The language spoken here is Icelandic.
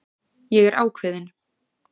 Ég er ákveðin.